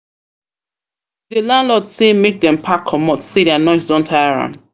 landlord sey make dem pack comot sey their noise don tire am.